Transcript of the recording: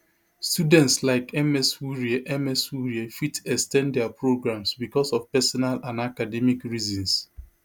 students like ms wurie ms wurie fit ex ten d dia programmes bicos of personal and academic reasons